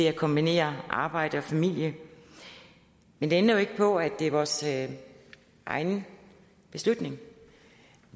at kombinere arbejde og familie men det ændrer ikke på at det er vores egen beslutning